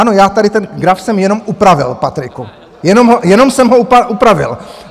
Ano, já tady ten graf jsem jenom upravil, Patriku, jenom jsem ho upravil.